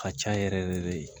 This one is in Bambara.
Ka ca yɛrɛ yɛrɛ de